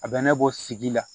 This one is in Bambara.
A bɛ ne bɔ sigi la